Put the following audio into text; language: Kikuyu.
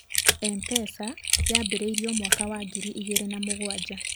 Mpesa yambĩrĩirio mwaka wa ngiri igĩrĩ na mũgwanja.